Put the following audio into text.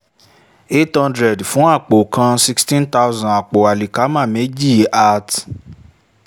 eight hundred fun apo kan sixteen thousand apo alikama meji at